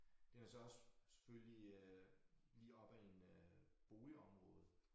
Den er så også selvfølgelig øh lige op ad en øh boligområde